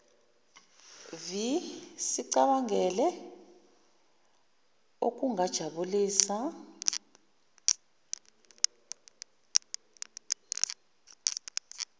vi sicabangele okujabulisa